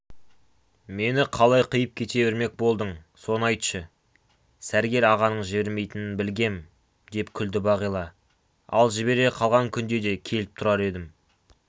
мені қалай қиып кете бермек болдың соны айтшы сәргел ағаның жібермейтінін білгем деп күлді бағила ал жібере қалған күнде де келіп тұрар едім